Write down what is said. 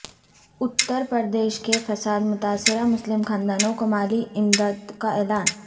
اترپردیش کے فساد متاثرہ مسلم خاندانوں کو مالی امدد کا اعلان